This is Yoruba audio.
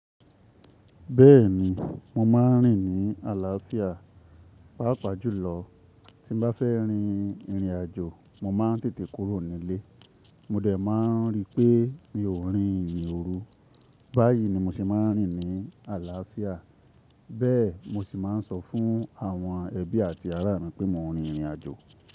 Bẹ́ẹ̀ni, mo máa ń rìn ní àlàáfíà. Pàápàá jùlọ, tí mo bá fẹ́ rin ìrìnàjò, mo máa ń tètè kúrò nílé, mo dẹ̀ máa ń rí pé mi ò rin ìrìn òru. Báyìí ni mo se máa ń rìn ní àlàáfíà, bẹ́ẹ̀ mo sì máa ń sọ fún àwọn ẹbí àti ará mi pé mo ń rin ìrìnàjò.